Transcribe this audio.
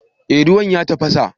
Eh ruwan ya tafasa